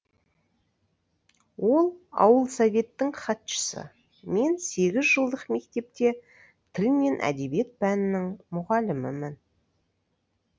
ол ауыл советтің хатшысы мен сегіз жылдық мектепте тіл мен әдебиет пәнінің мұғалімімін